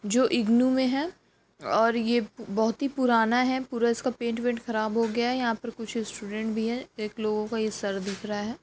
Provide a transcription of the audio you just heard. जो इग्नु में है और ये बोहोत ही पुराना है पूरा इसका पैंट वेन्ट खराब हो गया है। यहाँ पर कुछ स्टूडेन्ट भी है एक लोगों का ये सर दिख रहा है।